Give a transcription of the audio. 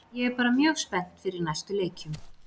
Ég er bara mjög spennt fyrir næstu leikjum.